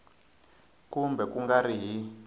kumbe ku nga ri hi